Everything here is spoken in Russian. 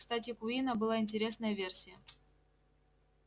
кстати у куинна была интересная версия